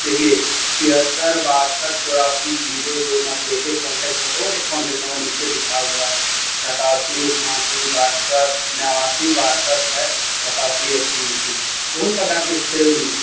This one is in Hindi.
देखिये छिहत्तर बासठ चौरासी जीरो दो नब्बे एक कांटेक्ट नंबर और एक कांटेक्ट नंबर नीचे लिखा हुआ सतासी उनासी बासठ नवाषि बासठ है सताशि एक्किस बहुत प्रकार के सेव मिलते --